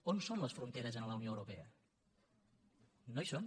on són les fronteres a la unió europea no hi són